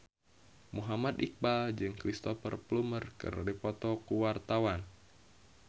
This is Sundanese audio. Muhammad Iqbal jeung Cristhoper Plumer keur dipoto ku wartawan